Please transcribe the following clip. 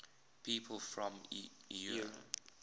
people from eure